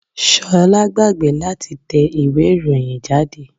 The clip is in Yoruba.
3. Ṣolá gbàgbé láti tẹ ìwé ìròyìn jáde.